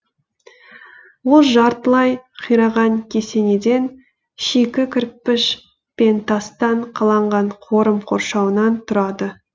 ол жартылай қираған кесенеден шикі кірпіш пен тастан қаланған қорым қоршауынан тұрады